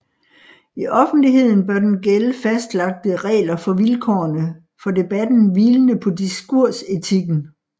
I offentligheden bør der gælde fastlagte regler for vilkårene for debatten hvilende på diskursetikken